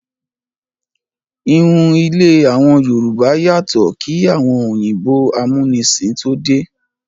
Ìhun ilé àwọn Yorùbá yàtọ̀ kí àwọn òyìnbó amúnisìn tó dé.